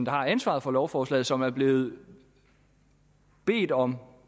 har ansvaret for lovforslaget og som er blevet bedt om